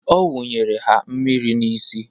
Ọ wunyere ha mmiri n'isi.